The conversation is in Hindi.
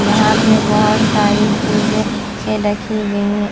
यहीं पे बहोत सारी चीजें भी रखी गई हैं।